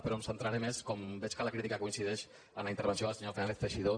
però em centraré més com veig que la crítica coincideix en la intervenció del senyor fernández teixidó